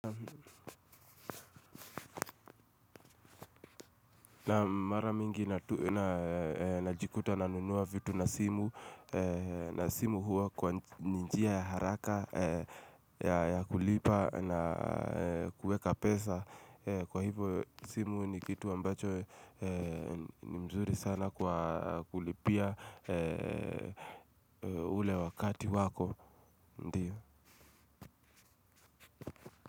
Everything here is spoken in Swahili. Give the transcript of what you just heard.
Na mara mingi najikuta na nunua vitu na simu na simu huwa ni njia ya haraka ya kulipa na kueka pesa, kwa hivo simu ni kitu ambacho ni mzuri sana kwa kulipia ule wakati wako.